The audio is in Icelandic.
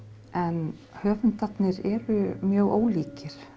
en höfundarnir eru mjög ólíkir